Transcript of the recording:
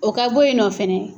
O ka boyinɔ fɛnɛ.